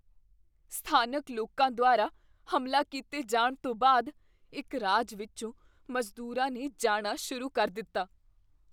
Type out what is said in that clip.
ਸਥਾਨਕ ਲੋਕਾਂ ਦੁਆਰਾ ਹਮਲਾ ਕੀਤੇ ਜਾਣ ਤੋਂ ਬਾਅਦ ਇੱਕ ਰਾਜ ਵਿੱਚੋਂ ਮਜ਼ਦੂਰਾਂ ਨੇ ਜਾਣਾ ਸ਼ੁਰੂ ਕਰ ਦਿੱਤਾ।